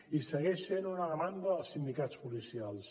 i segueix sent una demanda dels sindicats policials